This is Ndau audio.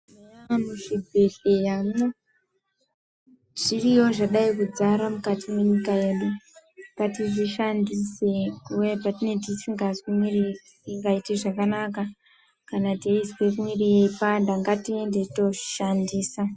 Muzvibhedhleramwo zviriyo zvadai kudzara mukati mwenyika yedu kuti zvishandiswe kuve zvedu tisingazwi mwiri wedu ukaite zvakanaka kana teizwe mwiri yeipanda ngatiende tooshandisa.